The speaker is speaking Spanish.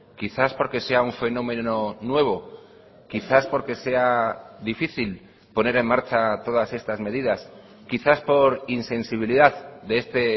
quizás porque sea un fenómeno nuevo quizás porque sea difícil poner en marcha todas estas medidas quizás por insensibilidad de este